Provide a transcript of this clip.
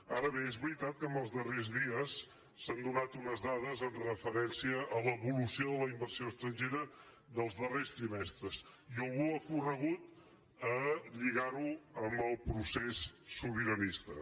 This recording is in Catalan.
ara bé és veritat que en els darrers dies s’han donat unes dades amb referència a l’evolució de la inversió estrangera dels darrers trimestres i algú ha corregut a lligar·ho amb el procés sobiranista